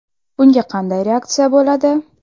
Bunga qanday reaksiya bo‘ladi?